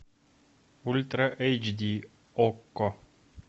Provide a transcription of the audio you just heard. ультра эйч ди окко